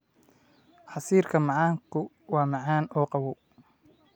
Casiirka macaanku waa macaan oo qabow.